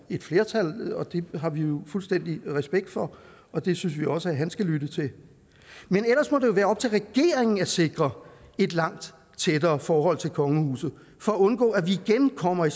et flertal og det har vi jo fuldstændig respekt for og det synes vi også han skal lytte til men ellers må det jo være op til regeringen at sikre et langt tættere forhold til kongehuset for at undgå at vi igen kommer i